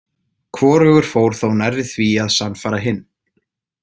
Hvorugur fór þó nærri því að sannfæra hinn.